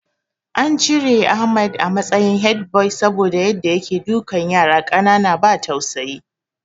An cire Ahmad a matsayin headboy saboda Yadda yake dukan yara ƙanana ba tausayi